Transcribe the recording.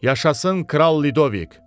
Yaşasın kral Ludovik.